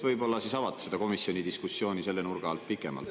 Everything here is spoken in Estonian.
Võib-olla avad komisjoni diskussiooni selle nurga alt pikemalt.